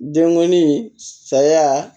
Denkɔni saya